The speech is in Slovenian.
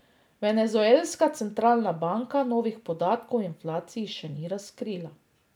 Venezuelska centralna banka novih podatkov o inflaciji še ni razkrila.